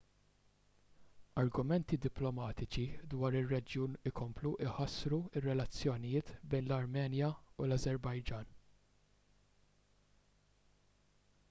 argumenti diplomatiċi dwar ir-reġjun ikomplu jħassru r-relazzjonijiet bejn l-armenja u l-ażerbajġan